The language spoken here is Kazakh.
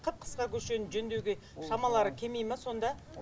қып қысқа көшені жөндеуге шамалары келмей ме сонда